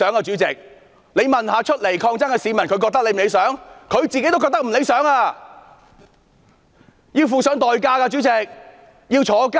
主席，即使問站出來抗爭的市民這樣是否理想，他們也不會覺得理想，他們要負上代價，要坐牢。